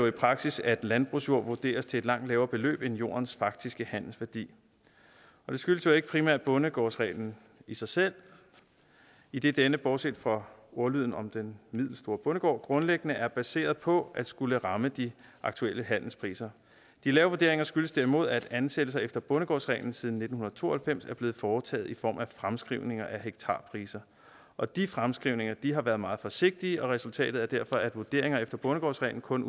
i praksis at landbrugsjord vurderes til et langt lavere beløb end jordens faktiske handelsværdi det skyldes jo ikke primært bondegårdsreglen i sig selv idet denne bortset fra ordlyden om den middelstore bondegård grundlæggende er baseret på at skulle ramme de aktuelle handelspriser de lave vurderinger skyldes derimod at ansættelser efter bondegårdsreglen siden nitten to og halvfems er blevet foretaget i form af fremskrivninger af hektarprisen og de fremskrivninger har været meget forsigtige og resultatet er derfor at vurderingerne efter bondegårdsreglen kun